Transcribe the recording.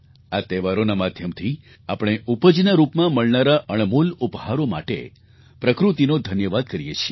આ તહેવારોના માધ્યમથી આપણે ઉપજના રૂપમાં મળનારા અણમોલ ઉપહારો માટે પ્રકૃતિનો ધન્યવાદ કરીએ છીએ